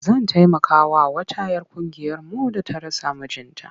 Zan taimakawa wata 'yar ƙungiyarmu da ta rasa mijinta.